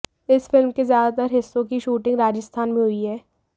S film के ज्यादातर हिस्सों की शूटिंग राजस्थान में हुई है